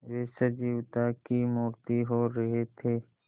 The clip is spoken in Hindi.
वे सजीवता की मूर्ति हो रहे थे